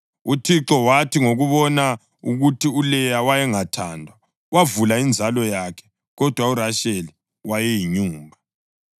UThixo wathi ngokubona ukuthi uLeya wayengathandwa, wavula inzalo yakhe, kodwa uRasheli wayeyinyumba.